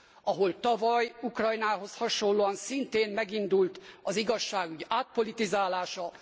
Ahol tavaly Ukrajnához hasonlóan szintén megindult az igazságügy átpolitizálása.